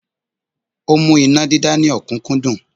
Ó mú iná dídá ní ọ̀kúnkúndùn